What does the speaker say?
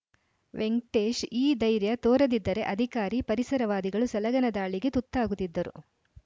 ವೆಂಕ್ ಟೇಶ್‌ ಈ ಧೈರ್ಯ ತೋರದಿದ್ದರೆ ಅಧಿಕಾರಿ ಪರಿಸರವಾದಿಗಳು ಸಲಗನ ದಾಳಿಗೆ ತುತ್ತಾಗುತ್ತಿದ್ದರು